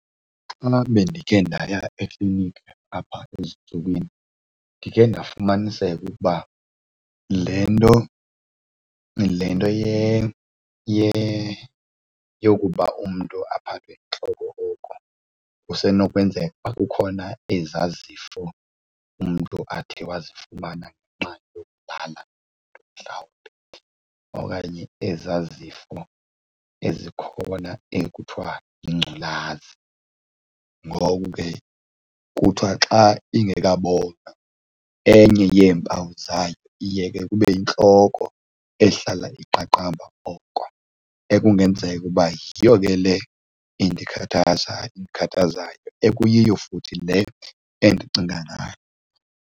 Xana bendikhe ndaya ekliniki apha ezintsukwini ndikhe ndifumaniseke ukuba le nto le nto yokuba umntu aphathwe yintloko oko kusenokwenzeka uba kukhona ezaa zifo umntu athe wazifumana ngenxa mhlawumbi okanye ezaa zifo ezikhona ekuthiwa yingculaza. Ngoku ke kuthiwa xa ingeka bonwa enye yeempawu zayo iye ke kube yintloko ehlala iqaqamba oko ekungenzeka uba yiyo ke le endikhathaza endikhathazayo, ekuyiyo futhi le endicinga ngayo.